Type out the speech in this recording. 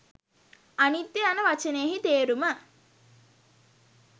අනිත්‍ය යන වචනයෙහි තේරුම